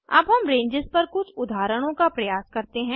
अब हम रेंजेस पर कुछ उदाहरणों का प्रयास करते हैं